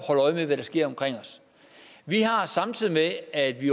holde øje med hvad der sker omkring os vi har samtidig med at vi